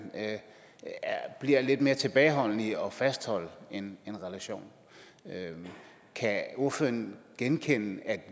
bliver lidt mere tilbageholdende med at fastholde en relation kan ordføreren genkende at